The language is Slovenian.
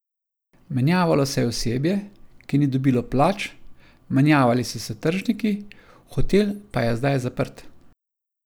Menjavalo se je osebje, ki ni dobilo plač, menjavali so se tržniki, hotel pa je zdaj zaprt.